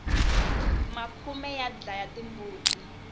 makhume ya dlaya timbuti